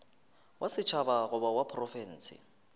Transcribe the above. wa setšhaba goba wa profense